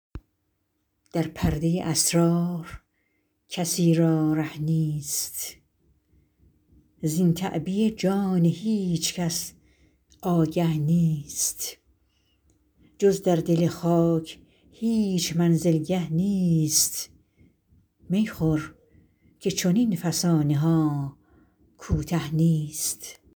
در پردۀ اسرار کسی را ره نیست زین تعبیه جان هیچ کس آگه نیست جز در دل خاک هیچ منزلگه نیست می خور که چنین فسانه ها کوته نیست